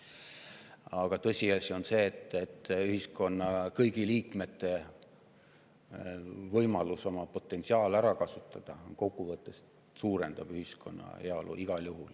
Aga tõsiasi on see, et kui kõigil ühiskonna liikmetel on võimalus oma potentsiaal ära kasutada, siis suurendab see kokkuvõttes ühiskonna heaolu igal juhul.